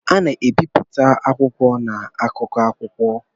A na-ebipụta akwụkwọ na akụkọ akwụkwọ.